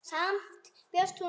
Samt bjóst hún við meiru.